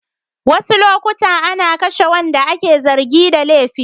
Wasu lokuta ana kashe waɗanda ake zargin da laifi.